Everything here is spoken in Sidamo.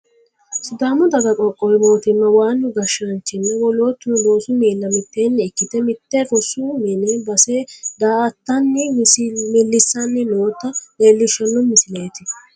sidaamu daga qoqqowi mootimma waannu gashshaanchinna wolootuno loosu miilla mitteenni ikkite mitte rosu mini base daa'attanni millissanni noota leelishshanno misileeti.